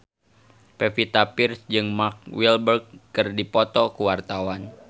Pevita Pearce jeung Mark Walberg keur dipoto ku wartawan